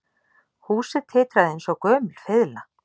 Húsið titraði eins og gömul fiðla